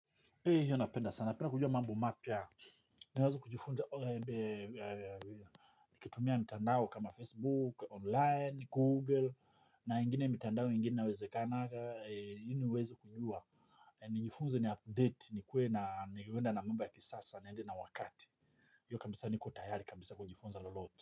Hiyo napenda sana, napenda kujua mambo mapya, naweza kujifunza, ukitumia mtandao kama Facebook, online, Google, na ingine mitandao ingine wezekana ili niweze kujua, nijifunze ni update, nikuwe na niende na mambo ya kisasa, niende na wakati, hiyo kabisa niko tayari kabisa kujifunza lolote.